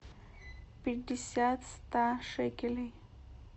пятьдесят ста шекелей